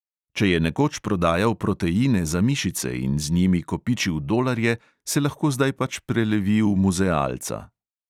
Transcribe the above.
Če je nekoč prodajal proteine za mišice in z njimi kopičil dolarje, se lahko zdaj pač prelevi v muzealca.